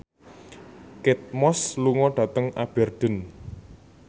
Kate Moss lunga dhateng Aberdeen